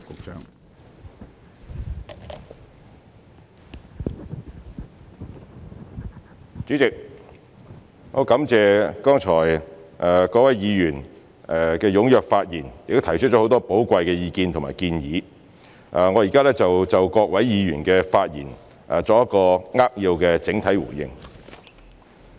主席，我感謝剛才各位議員踴躍發言，並提出很多寶貴意見和建議，我現在就各位議員的發言作扼要的整體回應。